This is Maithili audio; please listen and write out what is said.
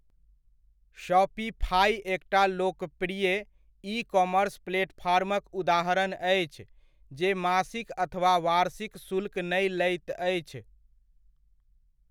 शॉपिफाइ एकटा लोकप्रिय ई कॉमर्स प्लेटफॉर्मक उदाहरण अछि जे मासिक अथवा वार्षिक शुल्क नै लैत अछि।